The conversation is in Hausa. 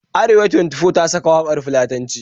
Arewa Twenty-Four ta saka waƙar Fulatanci